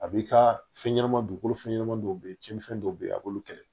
A b'i ka fɛn ɲɛnama dugukolo fɛn ɲɛnama dɔw be ye cɛnnifɛn dɔw be ye a b'olu kɛlɛ